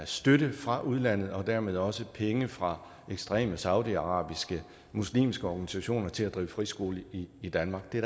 støtte fra udlandet og dermed også penge fra ekstreme saudiarabiske muslimske organisationer til at drive friskole i i danmark det er